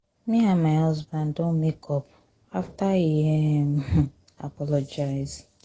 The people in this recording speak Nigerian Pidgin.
me and my husband don make up after he um apologize